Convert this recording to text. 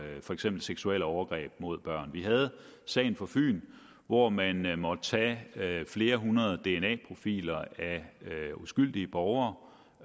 for eksempel seksuelle overgreb mod børn vi havde sagen fra fyn hvor man man måtte tage flere hundrede dna profiler af uskyldige borgere